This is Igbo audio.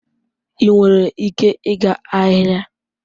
Ị nwere ike ịga ahịa?